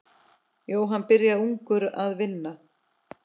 Jóhann byrjaði ungur að vinna.